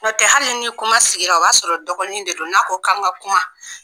Nɔtɛ hali ni kuma sigira o b'a sɔrɔ dɔgɔnin de don n'a ko kan ka kuma